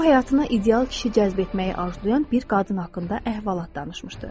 O həyatına ideal kişi cəzb etməyi arzulayan bir qadın haqqında əhvalat danışmışdı.